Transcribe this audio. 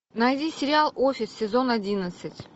найди сериал офис сезон одиннадцать